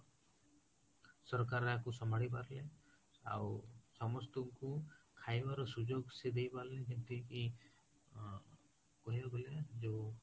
ସରକାର ୟାକୁ ସମ୍ଭାଳି ପାରିଲେ ଆଉ ସମସ୍ତଙ୍କୁ ଖାଇବାର ସୁଯୋକ ସେଇ ଦେଇ ପାରିଲେ ହେତିକି ଅ କହିବାକୁ ଗଲେ ଯୋଉ